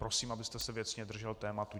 Prosím, abyste se věcně držel tématu.